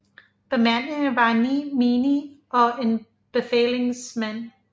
Bemandingen var 9 menige og en befalingsmand